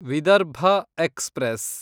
Vidarbha express